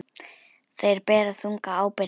Þeir bera þunga ábyrgð.